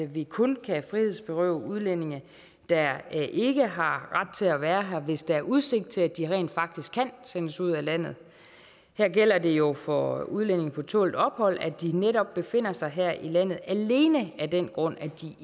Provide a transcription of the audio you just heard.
vi kun kan frihedsberøve udlændinge der ikke har ret til at være her hvis der er udsigt til at de rent faktisk kan sendes ud af landet her gælder det jo for udlændinge på tålt ophold at de netop befinder sig her i landet alene af den grund at de